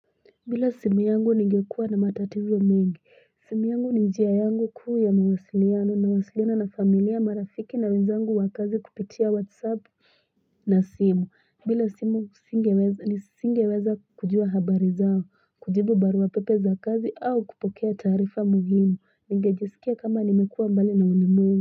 Bila simuyangu ningekua na matatizo mingi simu yangu ni njia yangu kuu ya mawasiliano nawasiliana na familia marafiki na wenzangu wakazi kupitia whatsapp na simu bila simu nisinge weza kujua habari zao kujibu barua pepe za kazi au kupokea taarifa muhimu ningejisikia kama nimekuwa mbali na ulimwe.